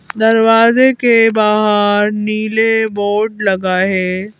दरवाजे के बाहर नीले बोर्ड लगाए--